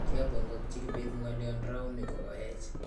kiabongokchi Kibet ngolion rauni ko kaech